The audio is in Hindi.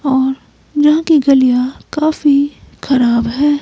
और यहां की गलियां काफी खराब हैं।